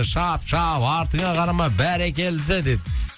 шап шап артыңа қарама бәрекелді деп